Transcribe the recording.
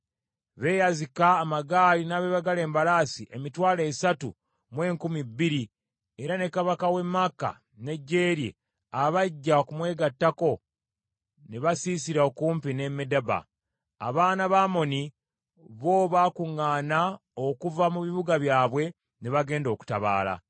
Beeyazika amagaali n’abeebagala embalaasi emitwalo esatu mu enkumi bbiri, era ne kabaka w’e Maaka n’eggye lye, abajja okumwegattako ne basiisira okumpi ne Medeba. Abaana ba Amoni bo baakuŋŋaana okuva mu bibuga byabwe ne bagenda okutabaala.